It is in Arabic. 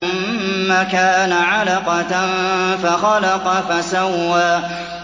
ثُمَّ كَانَ عَلَقَةً فَخَلَقَ فَسَوَّىٰ